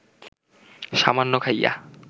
সামান্য খাইয়া